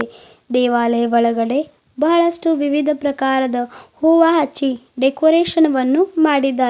ದೇವಾಲಯ ಒಳಗಡೆ ಬಹಳಷ್ಟು ವಿವಿಧ ಪ್ರಕಾರದ ಹೂವ ಹಚ್ಚಿ ಡೆಕೋರೇಷನ್ ವನ್ನು ಮಾಡಿದ್ದಾರೆ.